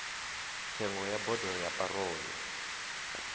tsengo ya bodo ya parole